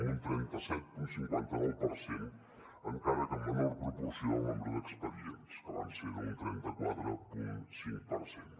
amb un trenta set coma cinquanta nou per cent encara que en menor proporció el nombre d’expedients que van ser d’un trenta quatre coma cinc per cent